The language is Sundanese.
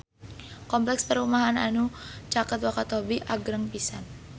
Kompleks perumahan anu caket Wakatobi agreng pisan